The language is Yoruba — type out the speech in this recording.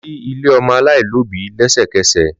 Lọ si ile ọmọ alaialobi lẹsẹkẹsẹ!